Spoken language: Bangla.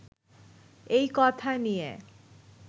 এই কথা নিয়ে